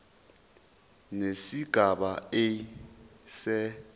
nesigaba a se